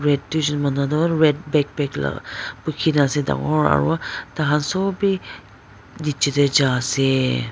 red duijon manu toh red bagpack la bhuiki na ase dangor aru tai khan sob bi nichey tae jai ase.